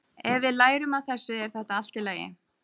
Ef við lærum af þessu er þetta allt í lagi.